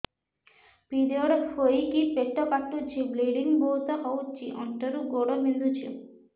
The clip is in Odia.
ପିରିଅଡ଼ ହୋଇକି ପେଟ କାଟୁଛି ବ୍ଲିଡ଼ିଙ୍ଗ ବହୁତ ହଉଚି ଅଣ୍ଟା ରୁ ଗୋଡ ବିନ୍ଧୁଛି